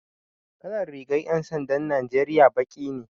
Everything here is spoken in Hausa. Kalar rigan 'yan sandan Najeriya baki ne.